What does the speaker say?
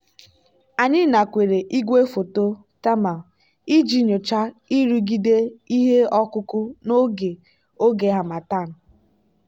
anyị nakweere igwefoto thermal iji nyochaa nrụgide ihe ọkụkụ n'oge oge harmattan.